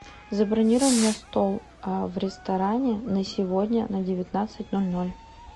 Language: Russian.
забронируй мне стол в ресторане на сегодня на девятнадцать ноль ноль